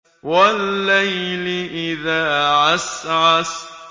وَاللَّيْلِ إِذَا عَسْعَسَ